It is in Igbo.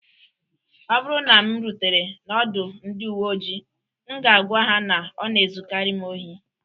Ọ bụrụ na m rutere n'ọdụ ndị uwe ojii, m ga-agwa ha na ọ na-ezukarị m ohi